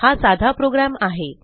हा साधा प्रोग्रॅम आहे